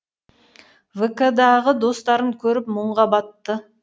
вк дағы достарын көріп мұңға батты